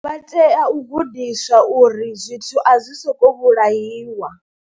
Vha tea u gudiswa uri zwithu a zwi sokou vhulahiwa.